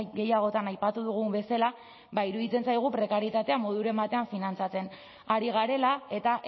gehiagotan aipatu dugun bezala ba iruditzen zaigu prekarietatea moduren batean finantzatzen ari garela eta